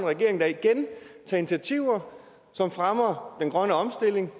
regering der igen tager initiativer som fremmer den grønne omstilling